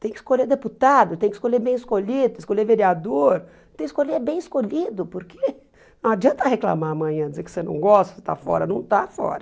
Tem que escolher deputado, tem que escolher bem escolhido, tem que escolher vereador, tem que escolher bem escolhido, porque não adianta reclamar amanhã, dizer que você não gosta, que você está fora, não está fora.